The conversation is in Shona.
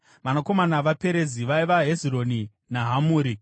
Vanakomana vaPerezi vaiva: Hezironi naHamuri.